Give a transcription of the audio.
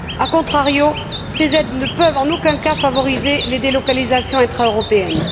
A contrario, ces aides ne peuvent, en aucun cas, favoriser les délocalisations intra européennes.